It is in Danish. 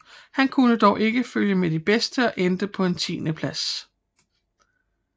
Han kunne dog ikke følge med de bedste og endte på en tiendeplads